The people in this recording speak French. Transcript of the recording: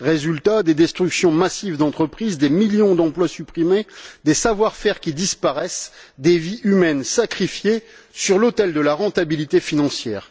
Résultat des destructions massives d'entreprises, des millions d'emplois supprimés, des savoir faire qui disparaissent, des vies humaines sacrifiées sur l'autel de la rentabilité financière.